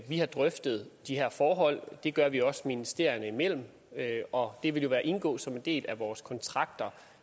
vi har drøftet de her forhold det gør vi også ministerierne imellem og det vil jo indgå som en del af vores kontrakter